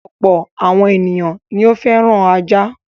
Ọ̀pọ̀ àwọn ènìyàn ni ó fẹ́ràn ajá.